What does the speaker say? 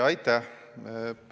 Aitäh!